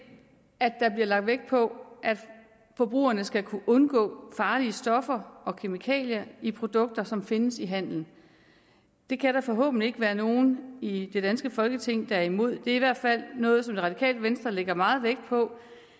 at der bliver lagt vægt på at forbrugerne skal kunne undgå farlige stoffer og kemikalier i produkter som findes i handelen det kan der forhåbentlig ikke være nogen i det danske folketing der er imod det er i hvert fald noget som det radikale venstre lægger meget vægt på